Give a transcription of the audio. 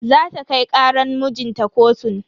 Zata kai karan mijinta kotu.